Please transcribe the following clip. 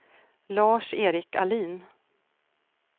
Lars-Erik Ahlin